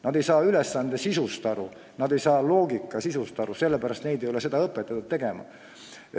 Nad ei saa ülesande sisust aru, nad ei saa loogikast aru, sellepärast et neid ei ole õpetatud seda tegema.